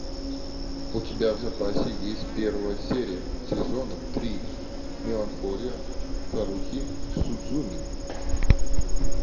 у тебя в запасе есть первая серия сезона три меланхолия харухи судзумии